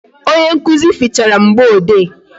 Onye nkụzi fichara mgboede